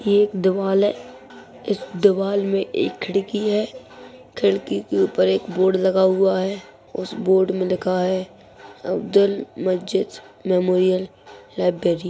ये एक दीवल है इस दीवाल मे के खिड़की है खिड़की के ऊपर एक बोर्ड लगा हुआ है उस बोर्ड मे लिखा है अब्दुल मजीद मेमोरियल लाइब्रेरी --